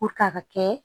a ka kɛ